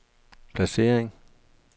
placering